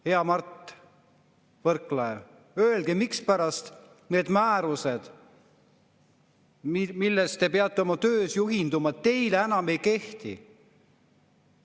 Hea Mart Võrklaev, öelge, mispärast need määrused, millest te peate oma töös juhinduma, teile enam ei kehti?